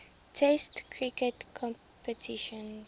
test cricket competitions